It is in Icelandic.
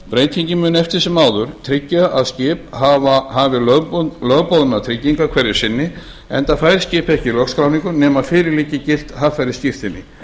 breytingin mun eftir sem áður tryggja að skip hafi lögboðnar tryggingar hverju sinni enda fær skip ekki lögskráningu nema fyrir liggi gilt haffærisskírteini